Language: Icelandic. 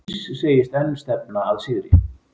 Mills segist enn stefna að sigri